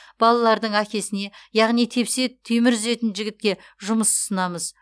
балалардың әкесіне яғни тепсе темір үзетін жігітке жұмыс ұсынамыз